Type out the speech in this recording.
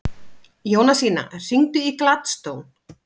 Jónasína, hringdu í Gladstone.